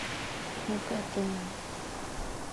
магадан